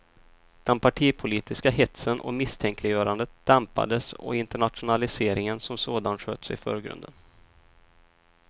Den partipolitiska hetsen och misstänkliggörandet dämpades och internationaliseringen som sådan sköts i förgrunden.